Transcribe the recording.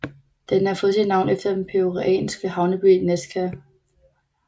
Den har fået sit navn efter den peruanske havneby Nazca